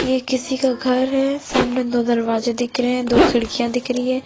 ये किसी का घर है सामने दो दरवाजे दिख रहे है दो खिडकिया दिख रही है।